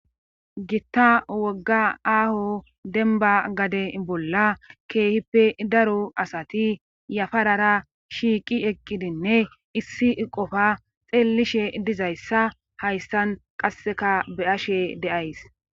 Gitta wogga aaho denba gade bolla keehippe daro asati yafarara shiiqi eqqidinne issi qofa xeellishe dizayssa hayssan qasseka be7ashe deays